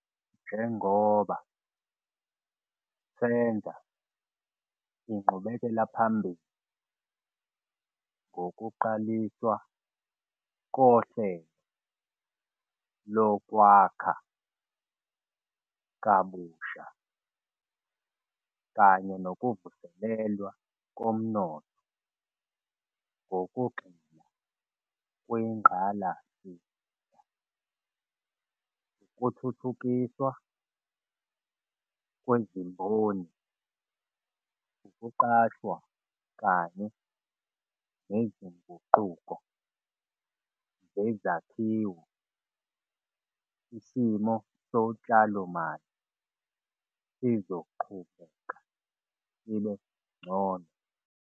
Njengoba senza inqubekelaphambili ngokuqaliswa koHlelo Lokwakha Kabusha kanye Nokuvuselelwa Komnotho ngokugxila kwingqalasizinda, ukuthuthukiswa kwezimboni, ukuqashwa kanye nezinguquko zezakhiwo isimo sotshalomali sizoqhubeka sibe ngcono.